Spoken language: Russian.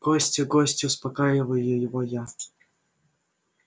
гости гости успокаиваю его я